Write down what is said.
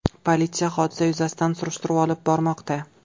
Politsiya hodisa yuzasidan surishtiruv olib bormoqda.